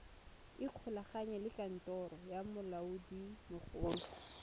ikgolaganye le kantoro ya molaodimogolo